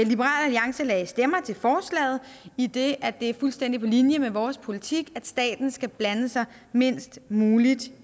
liberal alliance lagde stemmer til forslaget idet det er fuldstændig på linje med vores politik at staten skal blande sig mindst muligt